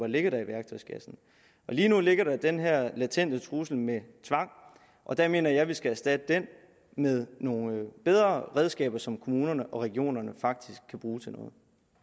ligger i værktøjskassen lige nu ligger der den her latente trussel med tvang og der mener jeg at vi skal erstatte den med nogle bedre redskaber som kommunerne og regionerne faktisk kan bruge til noget